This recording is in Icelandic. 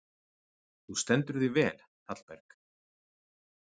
Þú stendur þig vel, Hallberg!